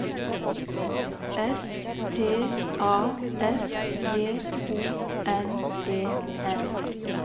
S T A S J O N E N